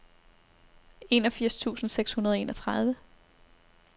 enogfirs tusind seks hundrede og enogtredive